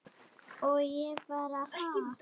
Og ég bara ha?